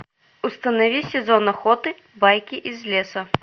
установи сезон охоты байки из леса